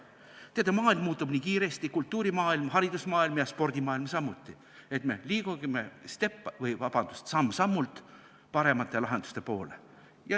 Teate, maailm muutub nii kiiresti, kultuurimaailm, haridusmaailm ja spordimaailm samuti, me liigume samm-sammult paremate lahenduste poole.